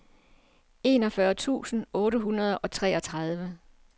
enogfyrre tusind otte hundrede og treogtredive